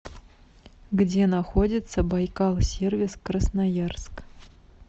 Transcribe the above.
где находится байкал сервис красноярск